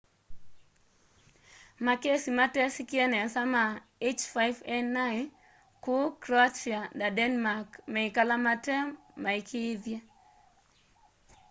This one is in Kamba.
makesi matesikie nesa ma h5n1 kuu croatia na denmark meikala matemaikiithye